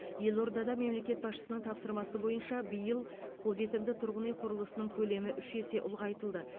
елордада мемлекет басшысының тапсырмасы бойынша биыл қолжетімді тұрғын үй құрылысының көлемі үш есе ұлғайтылды